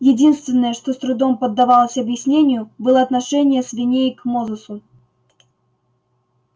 единственное что с трудом поддавалось объяснению было отношение свиней к мозусу